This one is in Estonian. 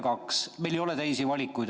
Meil ei ole teisi valikuid.